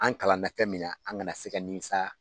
An kalanna fɛn min na an kana se ka nimisa